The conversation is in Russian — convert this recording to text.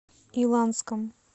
иланском